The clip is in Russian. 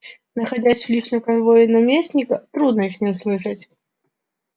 находясь в личном конвое наместника трудно их не услышать а он все мне рассказывает